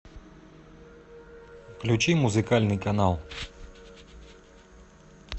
включи музыкальный канал